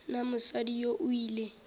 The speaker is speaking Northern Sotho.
na mosadi yoo o ile